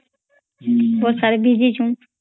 ବର୍ଷା ରେ ଭିଜିଚନ୍